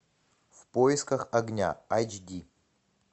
в поисках огня айч ди